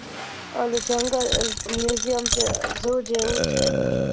ઓલું જંગલ છ museam zoo જેવું છે.